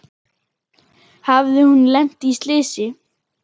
Hafði hún lent í slysi?